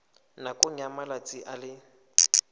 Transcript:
nakong ya malatsi a le